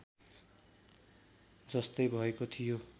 जस्तै भएको थियो